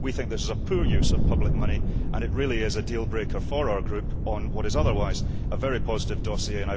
We think this is a poor use of public money and it really is a deal breaker for our Group, on what is otherwise a very positive dossier.